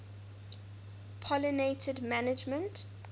pollination management